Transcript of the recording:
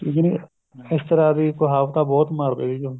ਜਿਵੇਂ ਇਸ ਤਰ੍ਹਾਂ ਦੀ ਕਹਾਵਤਾਂ ਬਹੁਤ ਮਾਰਦੇ ਸੀਗੇ ਉਹ